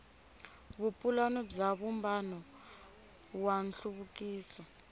vupulani bya vumbano wa nhluvukiso